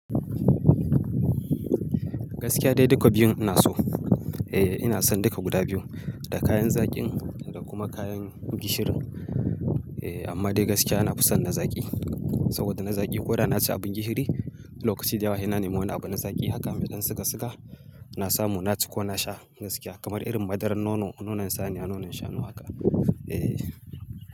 Gaskiya dai duka biyun ina so. Eh ina son duka guda biyu, da kayan zaƙin da kuma kayan gishirin. Eh amma dai gaskiya nafi san na zaƙi saboda na zaƙi ko da na ci abin gishiri, lokaci da yawa sai na nema wani abin na zaƙi. Haka mai dan siga siga na samu na ci ko na sha gaskiya kamar irin madarar nono, nonon saniya, nonon shanu haka. Eh.